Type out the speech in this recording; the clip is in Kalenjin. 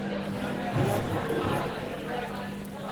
Mieno tuga.